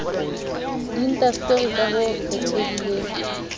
di indasteri ka ho kgethehileng